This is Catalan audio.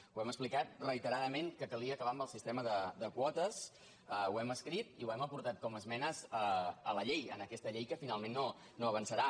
hem explicat reiteradament que calia acabar amb el sistema de quotes ho hem escrit i ho hem aportat com esmenes a la llei a aquesta llei que finalment no avançarà